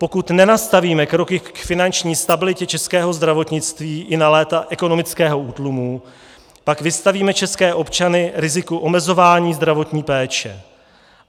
Pokud nenastavíme kroky k finanční stabilitě českého zdravotnictví i na léta ekonomického útlumu, pak vystavíme české občany riziku omezování zdravotní péče.